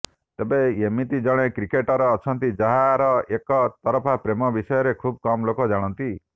ତେବେ ଏମିତି ଜଣେ କ୍ରିକେଟର ଅଛନ୍ତି ଯାହାର ଏକ ତରଫା ପ୍ରେମ ବିଷୟରେ ଖୁବ୍ କମ୍ ଲୋକ ଜାଣନ୍ତି